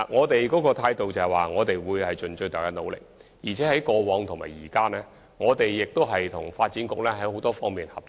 當局的態度是，會盡最大努力，而且無論過往或現在，我們均與發展局有多方面的合作。